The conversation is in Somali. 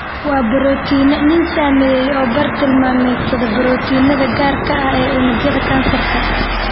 Waa borotiinno nin sameeyey oo bar-tilmaameedsada borotiinada gaarka ah ee unugyada kansarka.